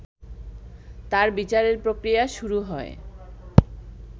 তার বিচারের প্রক্রিয়া শুরু হয়